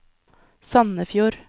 Sandefjord